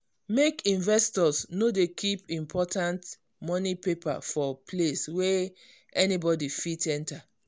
make investor no dey keep important money paper for place wey anybody fit enter.